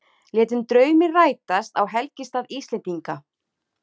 Létu drauminn rætast á helgistað Íslendinga